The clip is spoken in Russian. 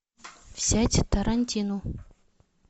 взять тарантину